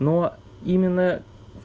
но именно